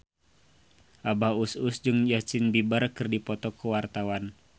Abah Us Us jeung Justin Beiber keur dipoto ku wartawan